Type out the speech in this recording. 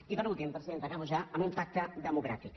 i per últim presidenta acabo ja amb un pacte democràtic